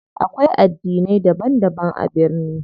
Akwai addinai daban daban a birni.